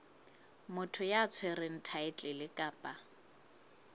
motho ya tshwereng thaetlele kapa